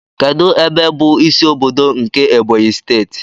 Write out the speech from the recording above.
Kedụ ebe bụ ịsị ọbọdọ nke Ebonyi steeti?